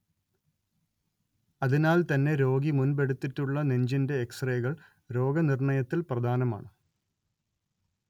അതിനാൽ തന്നെ രോഗി മുൻപെടുത്തിട്ടുള്ള നെഞ്ചിന്റെ എക്സ്റേകൾ രോഗനിർണയത്തിൽ പ്രധാനമാണ്‌